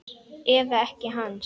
Eða ekkja hans?